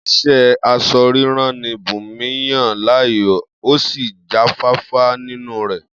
Is̩é̩ as̩o̩-rírán ni Bùnmi yàn láàyò, ó sì jáfáfá nínú rè̩